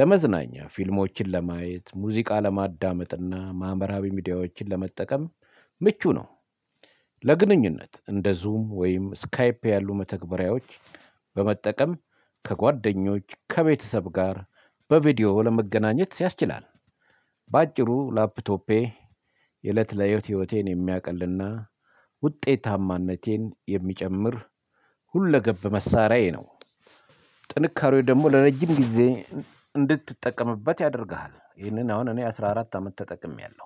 ለመዝናኛ ፊልሞችን ለማየት ሙዚቃ ለማዳመጥና ማህበራዊ ሚዲያዎችን ለመጠቀም ምቹ ነው። ለግንኙነት እንደ ዙም ወይም ስካይፕ ያሉ መተግበሪያዎች በመጠቀም ከጓደኞች ከቤተሰብ ጋር በቪዲዮ ለመገናኘት ያስችላል። በአጭሩ ላፕቶፔ የእለት ለህይወቴ ህይወቴን የሚያውቅልና ውጤታማነቴን የሚጨምር ሁለገብ መሳሪያዬ ነው። ጥንካሬው ደግሞ ለረጅም ጊዜ እንድትጠቀምበት ያደርግሃል ይህንን አሁን እኔ አስራ አራት አመት ተጠቅሜያለሁ።